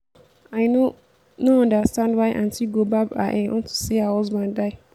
i no no understand why aunty go barb her hair unto say her husband die